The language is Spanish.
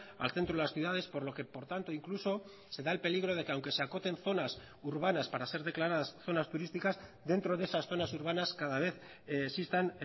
al centro de las ciudades por lo que por tanto incluso se da el peligro de que aunque se acoten zonas urbanas para ser declaradas zonas turísticas dentro de esas zonas urbanas cada vez existan